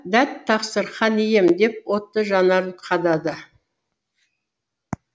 дәт тақсыр хан ием деп отты жанарын қадады